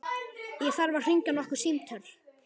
Ég þarf að hringja nokkur símtöl.